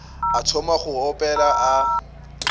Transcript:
a thoma go opela a